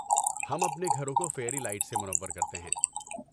ہم اپنے گھروں کو فیئری لائٹ سے منور کرتے ہیں۔